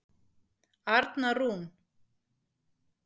Arna Rún.